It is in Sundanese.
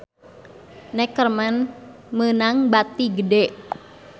Neckerman meunang bati gede